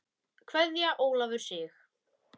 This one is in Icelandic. Kveðja Ólafur Sig.